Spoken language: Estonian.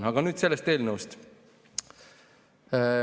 Aga nüüd sellest eelnõust.